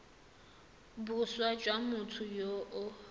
boswa jwa motho yo o